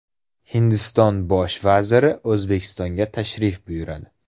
Hindiston Bosh vaziri O‘zbekistonga tashrif buyuradi.